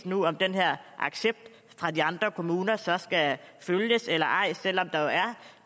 nu om den her accept fra de andre kommuner så skal følges eller ej selv om der jo er